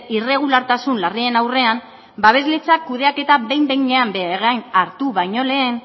irregulartasun larrien aurrean babesletza kudeaketa behin behinean beregain hartu baino lehen